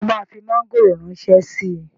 Ṣé o máa fi mọ́ngòrò ránṣẹ́ síi?